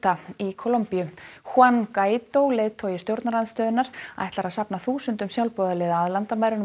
í Kólumbíu juan Guaidó leiðtogi stjórnarandstöðunnar ætlar að safna þúsundum sjálfboðaliða að landamærunum